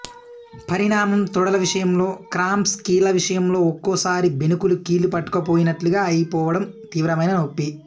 పరిణామం తొడల విషయంలో క్రాంప్స్ కీళ్ల విషయంలో ఒక్కోసారి బెణుకులు కీళ్లు పట్టుకుపోయినట్లుగా అయిపోవడం తీవ్రమైన నొప్పి